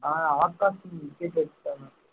அஹ் Akash wicket எடுத்துட்டானாம்